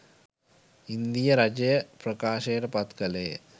ඉන්දීය රජය ප්‍රකාශයට පත් කළේය